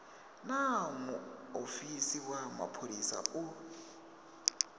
naa muofisi wa mapholisa u